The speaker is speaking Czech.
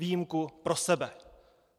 Výjimku pro sebe.